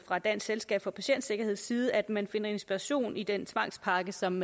fra dansk selskab for patientsikkerheds side foreslået at man finder inspiration i den tvangspakke som